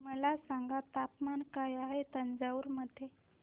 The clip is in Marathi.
मला सांगा तापमान काय आहे तंजावूर मध्ये